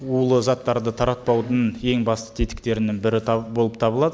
улы заттарды таратпаудың ең басты тетіктерінің бірі болып табылады